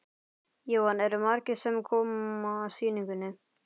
Jóhann: Eru margir sem koma að sýningunni?